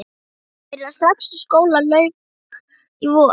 Ég byrjaði strax og skóla lauk í vor.